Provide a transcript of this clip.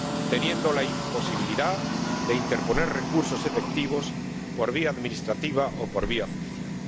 teniendo la posibilidad de interponer recursos efectivos por vía administrativa o por vía judicial.